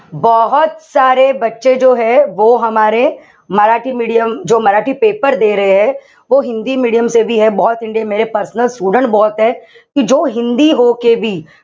medium paper medium personal student